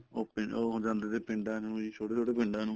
ਉਹ ਪਿੰਡ ਉਹ ਜਾਂਦੇ ਤੇ ਪਿੰਡਾਂ ਨੂੰ ਛੋਟੇ ਛੋਟੇ ਪਿੰਡਾਂ ਨੂੰ